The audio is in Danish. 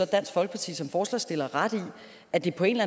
dansk folkeparti som forslagsstillere ret i at det på en